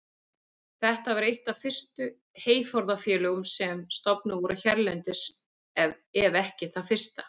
Þetta var eitt af fyrstu heyforðafélögum sem stofnuð voru hérlendis ef ekki það fyrsta.